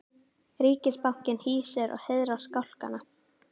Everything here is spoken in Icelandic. Ríkisbankinn hýsir og heiðrar skálkana